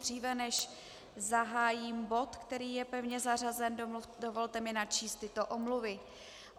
Dříve než zahájím bod, který je pevně zařazen, dovolte mi načíst tyto omluvy.